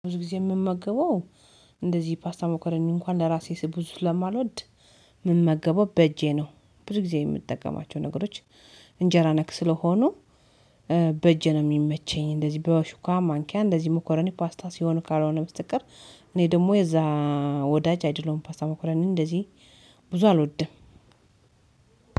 ብዙ ጊዜ የምመገበው እንደዚህ ፓስታ መኮረኒ እንኳን ለራሴ ብዙ ስለማልወድ የምመገበው በእጄ ነው። ብዙ ጊዜ የምጠቀማቸው ነገሮች እንጀራ ነክ ስለሆኑ በእጄ ነው የሚመቸኝ። እንደዚህ በሹካ ማንኪያ እንደዚህ መኮረኒ ፓስታ ሲሆኑ ካልሆነ በስተቀር እኔ ደግሞ የዛ ወዳጅ አይደለሁም። ፓስታ መኮረኒ እንደዚህ ብዙ አልወድም።